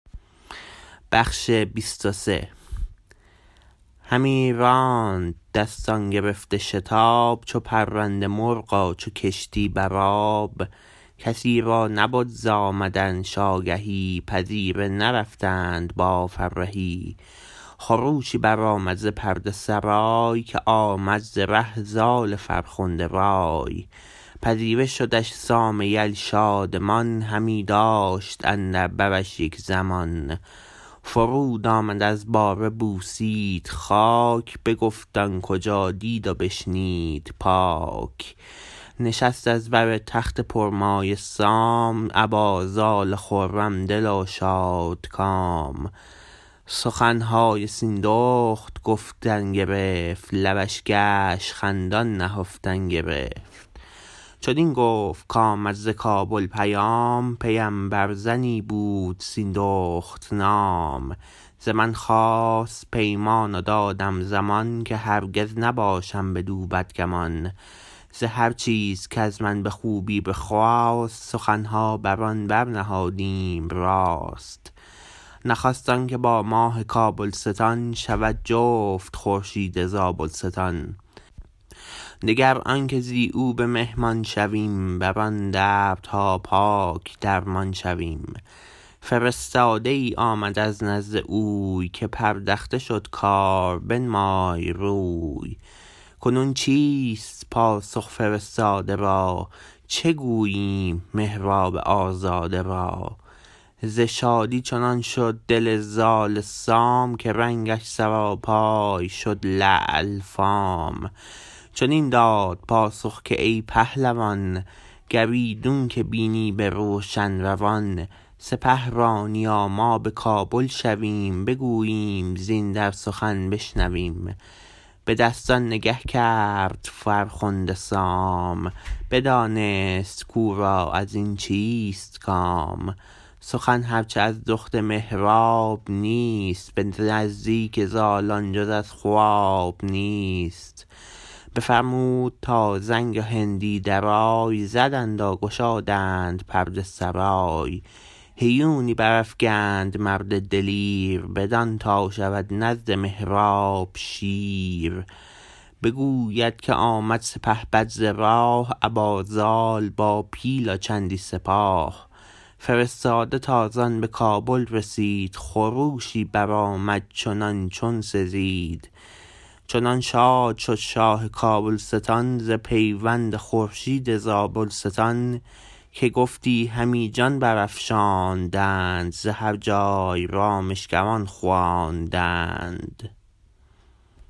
همی راند دستان گرفته شتاب چو پرنده مرغ و چو کشتی برآب کسی را نبد ز آمدنش آگهی پذیره نرفتند با فرهی خروشی برآمد ز پرده سرای که آمد ز ره زال فرخنده رای پذیره شدش سام یل شادمان همی داشت اندر برش یک زمان فرود آمد از باره بوسید خاک بگفت آن کجا دید و بشنید پاک نشست از بر تخت پرمایه سام ابا زال خرم دل و شادکام سخنهای سیندخت گفتن گرفت لبش گشت خندان نهفتن گرفت چنین گفت کامد ز کابل پیام پیمبر زنی بود سیندخت نام ز من خواست پیمان و دادم زمان که هرگز نباشم بدو بدگمان ز هر چیز کز من به خوبی بخواست سخنها بران برنهادیم راست نخست آنکه با ماه کابلستان شود جفت خورشید زابلستان دگر آنکه زی او به مهمان شویم بران دردها پاک درمان شویم فرستاده ای آمد از نزد اوی که پردخته شد کار بنمای روی کنون چیست پاسخ فرستاده را چه گوییم مهراب آزاده را ز شادی چنان شد دل زال سام که رنگش سراپای شد لعل فام چنین داد پاسخ که ای پهلوان گر ایدون که بینی به روشن روان سپه رانی و ما به کابل شویم بگوییم زین در سخن بشنویم به دستان نگه کرد فرخنده سام بدانست کورا ازین چیست کام سخن هر چه از دخت مهراب نیست به نزدیک زال آن جز از خواب نیست بفرمود تا زنگ و هندی درای زدند و گشادند پرده سرای هیونی برافگند مرد دلیر بدان تا شود نزد مهراب شیر بگوید که آمد سپهبد ز راه ابا زال با پیل و چندی سپاه فرستاده تازان به کابل رسید خروشی برآمد چنان چون سزید چنان شاد شد شاه کابلستان ز پیوند خورشید زابلستان که گفتی همی جان برافشاندند ز هر جای رامشگران خواندند